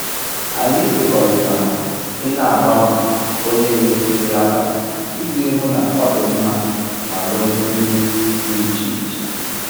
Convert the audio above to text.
Anyị kwekọrịtara i n'agbanwe onye n'esi nri abalị iji hụ na ọ dị mma ma nwee nri dị iche iche